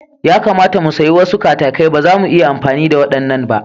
Ya kamata mu sayi wasu katakai, ba zamu iya amfani da waɗannan ba.